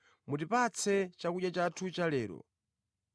Mutipatse chakudya chathu chalero,